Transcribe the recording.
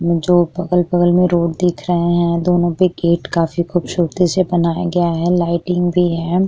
जो अगल-बगल में रोड दिख रहे हैं दोनों के गेट काफी खूबसूरती से बनाए गया है। लाइटिंग भी है।